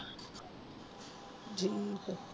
ਜੀਤ